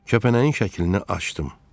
Kəpənəyin şəklini açdım.